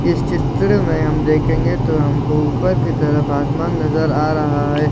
इस चित्र मे हम देखेंगे तो हमको ऊपर की तरफ आसमान नजर आ रहा है।